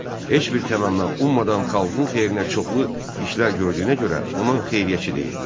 Heç bir təmənna ummadan xalqın xeyrinə çoxlu işlər gördüyünə görə ona xeyriyyəçi deyirdilər.